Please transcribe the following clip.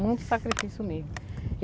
Muito sacrifício mesmo.